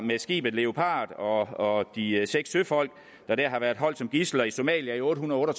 skibet leopard og de seks søfolk der har været holdt som gidsler i somalia i otte hundrede og